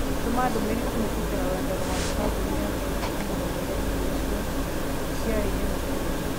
Tũma ndũmĩrĩri kũhītũkīra rũrenda rũa kabũni ya Kenchic na ũmeera atĩ iriocio ciari hehu muno